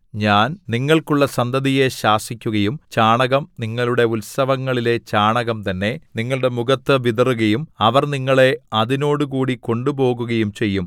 ഞാൻ നിങ്ങൾക്കുള്ള സന്തതിയെ ശാസിക്കുകയും ചാണകം നിങ്ങളുടെ ഉത്സവങ്ങളിലെ ചാണകം തന്നെ നിങ്ങളുടെ മുഖത്തു വിതറുകയും അവർ നിങ്ങളെ അതിനോടുകൂടി കൊണ്ടുപോകുകയും ചെയ്യും